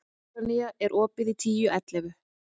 Úranía, er opið í Tíu ellefu?